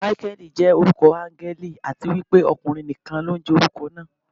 Máíkẹ́lì jẹ́ orúkọ áńgẹ́lì, àti wípé ọkùnrin nìkan ló ń jẹ́ orúkọ náà.